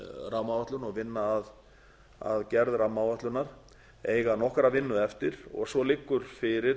rammaáætlun og vinna að gerð rammaáætlunar eiga nokkra vinnu eftir og svo liggur fyrir